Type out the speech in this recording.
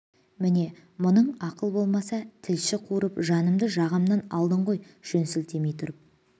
міне мұның ақыл болмаса тілші қуырып жанымды жағамнан алдың ғой жөн сілтемей тұрып